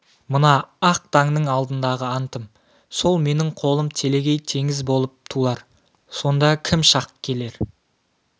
мына ақ таңның алдындағы антым сол менің қолым телегей теңіз болып тулар сонда кім шақ келер